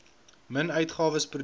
min uitgawes produkte